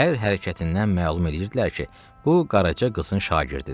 Hər hərəkətindən məlum eləyirdilər ki, bu Qaraca qızın şagirdidir.